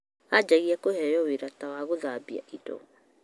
Anjagia kũheo wĩra ta wagũthambia indo,